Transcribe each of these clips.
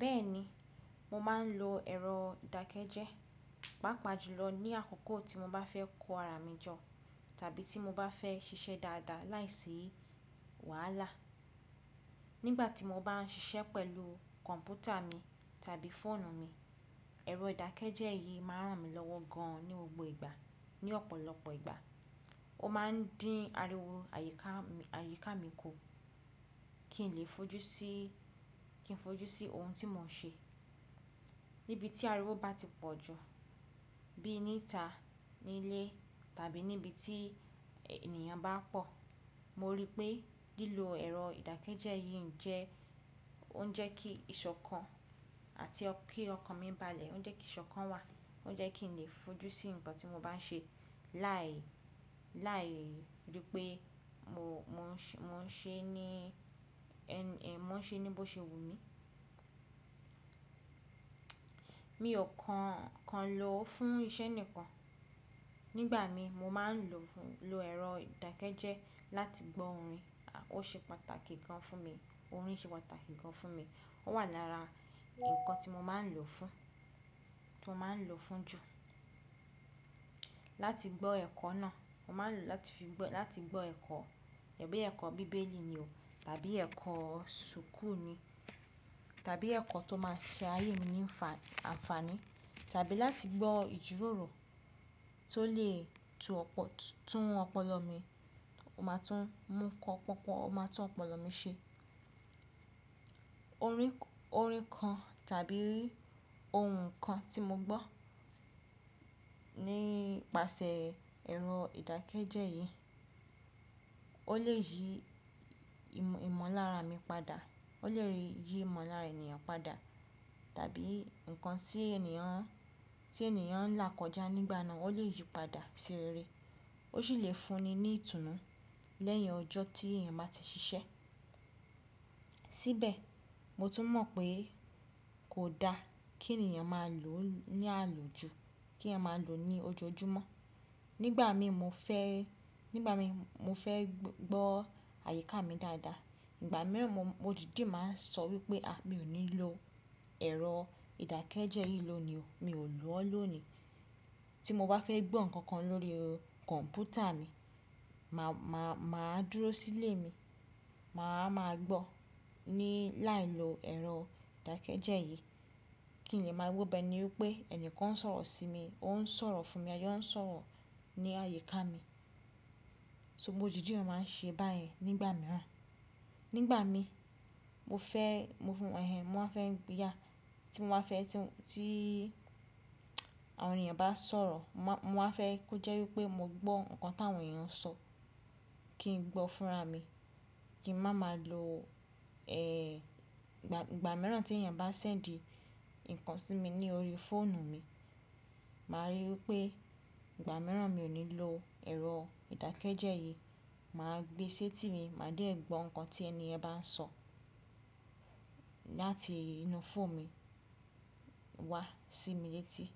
Bẹ́ẹ̀ni, mo máa ń lo ẹ̀rọ ìdákẹ́jẹ́, pàápàá jùlọ ní àkókò tí mo bá fẹ́ kọ ara mi jọ tàbí tí mo bá fẹ́ ṣiṣẹ́ dáadáa láìsí wàhálà. Nígbà tí mo bá ń ṣiṣẹ́ pẹ̀lú kọ̀npútà mi tàbí fóònù mi, ẹ̀rọ ìdákẹ́jẹ́ yìí máa ń ràn mí lọ́wọ́ gan ní gbogbo ìgbà. Ní ọ̀pọ̀lọpọ̀ ìgbà, ó máa ń dín ariwo àyíká mi ku kí n lè fojú sí ohun tí mo ń ṣe. Níbi tí ariwo bá ti pọ̀ jù, bí i níta, nílé tàbí níbi tí ènìyàn bá pọ̀, mo rí i pé lílo ẹ̀rọ ìdákẹ́jẹ́ yìí jẹ́ kí ìṣọ̀kan àti kí ọkàn mi balẹ̀, ó ń jẹ́ kí ìṣọ̀kan wà, ó ń jẹ́ kí n lè fojú sí ǹkan tí mo bá ń ṣe, láìrí pé mo ń ṣe ní bó ṣe wù mí. Mi ò kan lo fún iṣẹ́ nìkan, nígbà mi mo máa ń lo ẹ̀rọ ìdákẹ́jẹ́ láti gbọ́ orin, ó ṣe pàtàkì gan fún mi. Orin ṣe pàtàkì gan fún mi, ó wà lára ǹkan tí mo máa ń lò fún jù. Láti gbọ́ ẹ̀kọ́ náà, mo máa ń lò ó láti gbọ́ ẹ̀kọ́, ẹ̀kọ́ bíbélì ni o tàbí ẹ̀kọ́ sùkú ni tàbí ẹ̀kọ́ tó máa ṣe ayé mi ní ànfàní tàbí láti gbọ́ ìjíròrò tó lè tún ọpọlọ mi ṣe. Orin kan tàbí ohùn kan tí mo gbọ́ nípasẹ̀ ẹ̀rọ ìdákẹ́jẹ́ yìí, ó lè yí ìmọ̀lára mi padà, ó lè yí ìmọ̀lára ènìyàn padà tàbí ǹkan tí ènìyàn ń là kọjá nígbà náà, ó lè yí padà sí rere. Ó sì lè fún ni ní ìtùnú lẹ́yìn ọjọ́ tí èèyàn má ti ṣiṣẹ́. Síbẹ̀, mo tún mọ̀ pé kò da kí ènìyàn má lò ó ní àlòjù, kí ènìyàn má lò ó ní ojoojúmọ́. Nígbà mi mo fẹ́ gbọ́ àyíká mi dáadáa. Ìgbà mìíràn mo dìde máa ń sọ wípé mi ò ní lo ẹ̀rọ ìdákẹ́jẹ́ yìí lónìí o, mi ò lò ó lónìí. Tí mo bá fẹ́ gbọ́ ǹkan kan lórí kọ̀npútà mi, mà á dúró sílé mi, mà á máa gbọ́ ní láìlo ẹ̀rọ ìdákẹ́jẹ́ yìí kí n lè máa gbọ́ bẹ́ẹ̀ ni wípé ẹnìkan ń sọ̀rọ̀ sí mi, ó ń sọ̀rọ̀ fún mi, ayé ó ń sọ̀rọ̀ ní àyíká mi. So mo dìdi máa ń ṣe báyi nígbà mìíràn. Nígbà mi, tí àwọn ènìyàn bá sọ̀rọ̀, mo máa fẹ́ kó jẹ́ wípé mo gbọ́ ǹkan tí àwọn èèyàn ń sọ, kí n gbọ́ fúnra mi, kí ń má má lo, ẹ̀, ìgbà mìíràn tí ènìyàn bá sẹ́ńdì ǹkan sí mi ní orí fóònù mi, mà á rí i wípé ìgbà mìíràn mi ò ní lo ẹ̀rọ ìdákẹ́jẹ́ yìí, mà á gbé sé tì mí, mà á dé gbọ́ ǹkan tí ẹni ẹ bá ń sọ láti inú fóònù mi wá sí mi létí.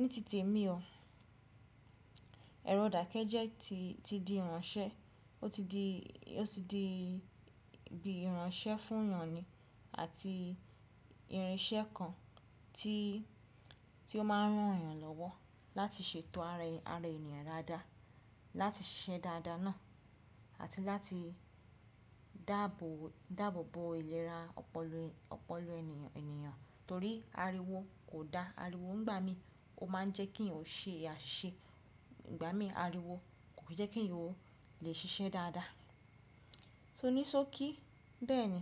Ni tite mi o, ẹ̀rọ ìdákẹ́jẹ́ ti di ìránṣẹ́, ó ti di bí ìránṣẹ́ fún èèyàn ni àti irinṣẹ́ kan tí ó máa ń rán èèyàn lọ́wọ́ láti ṣètò ara ènìyàn ra dá, láti ṣiṣẹ́ dáadáa náà àti láti dàbòbò ìlera ọpọlọ ènìyàn. Torí ariwo kò da. Ariwo nígbà mi, ó má ń jẹ́ kí eyan ṣe àṣìṣe. Nígbà mi ariwo kò jẹ́ kí ǹ lè ṣiṣẹ́ dáadáa. Ní sókí, bẹ́ẹ̀ni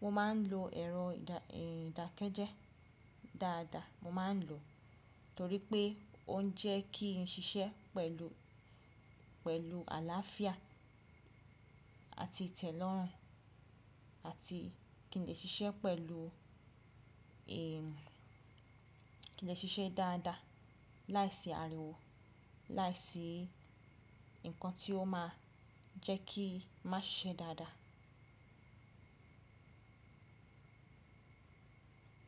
mo máa ń lo ẹ̀rọ ìdákẹ́jẹ́ dáadáa, mo máa ń lò ó torí pé ó ń jẹ́ kí n ṣiṣẹ́ pẹ̀lú àláàfíà àti ite lọ̀run àti kí n lè ṣiṣẹ́ dáadáa láìsí ariwo, láìsí ǹkan tí ó máa jẹ́ kí mà ṣiṣẹ́ dáadáa.